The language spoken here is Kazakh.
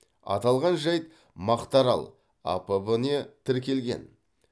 аталған жайт мақтаарал апб не тіркелген